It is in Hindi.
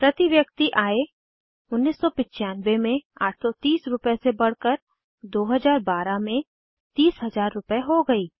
प्रति व्यक्ति आय 1995 में 830 रूपए से बढ़कर 2012 में 30000 रूपए हो गयी